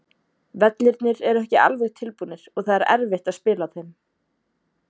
Vellirnir eru ekki alveg tilbúnir og það er erfitt á spila á þeim.